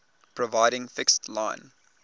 providing fixed line